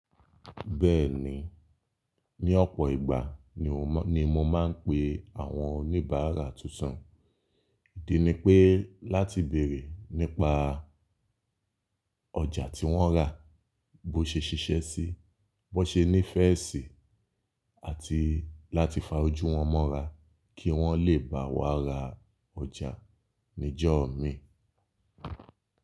Bẹ́ẹ̀ni, ní ọ̀pọ̀ ìgbà ni mo máa ń pe àwọn oníbàárà tuntun. Ìdí ni pé láti bèrè nípa ọjà tí wọ́n rà, bó ṣe ṣiṣẹ́ síi, bó ṣe nífẹ̀ẹ́ síi àti láti fa ojú wọn mọ́ra kí wọ́n le bá wa ra ọjà ni jọ̀ọ́ mi.